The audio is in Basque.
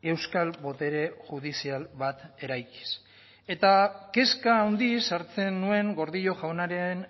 euskal botere judizial bat eraikiz eta kezka handiz hartzen nuen gordillo jaunaren